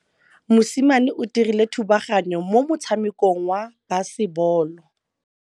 Mosimane o dirile thubaganyô mo motshamekong wa basebôlô.